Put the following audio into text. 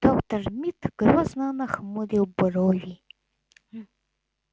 доктор мид грозно нахмурил брови